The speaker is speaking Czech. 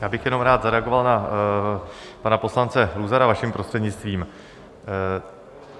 Já bych jenom rád zareagoval na pana poslance Luzara, vaším prostřednictvím.